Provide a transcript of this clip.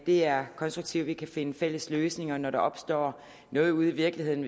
det er konstruktivt at vi kan finde fælles løsninger når der opstår noget ude i virkeligheden